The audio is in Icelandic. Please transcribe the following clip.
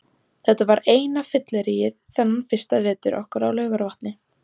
Þetta var eina fylliríið þennan fyrsta vetur okkar á Laugarvatni.